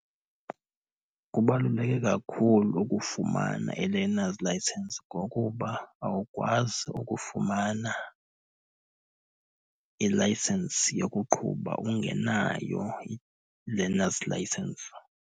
Kubaluleke kakhulu ukufumana i-learner's license ngokuba awukwazi ukufumana ilayisensi yokuqhuba ungenayo i-learner's license.